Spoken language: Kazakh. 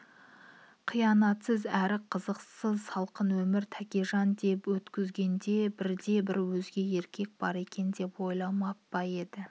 қиянатсыз әрі қызықсыз салқын өмірін тәкежан деп өткізгенде бірде-бір өзге еркек бар екен деп ойлап па еді